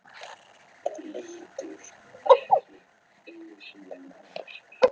Ekki einu sinni til að sjá mig.